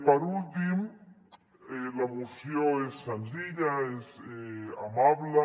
per últim la moció és senzilla és amable